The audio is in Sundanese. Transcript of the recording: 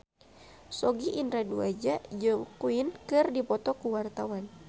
Sogi Indra Duaja jeung Queen keur dipoto ku wartawan